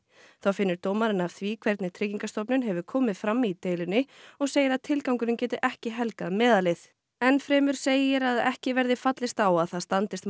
þá finnur dómarinn að því hvernig Tryggingastofnun hefur komið fram í deilunni og segir að tilgangurinn geti ekki helgað meðalið enn fremur segir að ekki verði fallist á að það standist